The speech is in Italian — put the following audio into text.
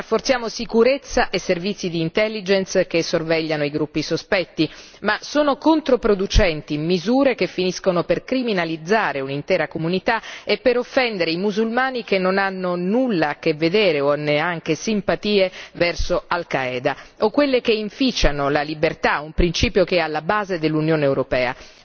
Rafforziamo sicurezza e servizi d'intelligence che sorvegliano i gruppi sospetti, ma sono controproducenti misure che finiscono per criminalizzare un'intera comunità e per offendere i musulmani che non hanno nulla a che vedere o neanche simpatie verso Al Qaeda, o quelle che inficiano la libertà, un principio che è alla base dell'Unione europea.